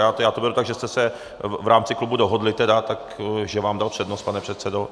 Já to beru tak, že jste se v rámci klubu dohodli tedy, takže vám dal přednost, pane předsedo.